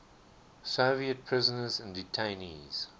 soviet prisoners and detainees